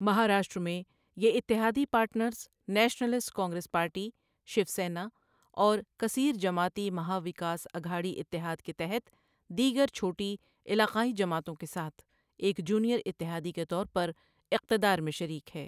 مہاراشٹرا میں، یہ اتحادی پارٹنرز نیشنلسٹ کانگریس پارٹی، شیو سینا اور کثیر جماعتی مہا وکاس اگھاڑی اتحاد کے تحت دیگر چھوٹی علاقائی جماعتوں کے ساتھ ایک جونیئر اتحادی کے طور پر اقتدار میں شریک ہے۔